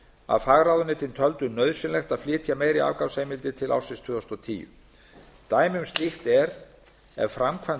að fagráðuneytin töldu nauðsynlegt að flytja meiri afgangsheimildir til ársins tvö þúsund og tíu dæmi um slíkt er ef framkvæmd